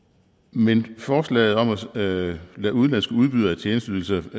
men forslaget om at kræve af udenlandske udbydere af tjenesteydelser